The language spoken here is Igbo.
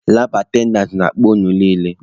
Labụ atendantị na-akpọ unu niile!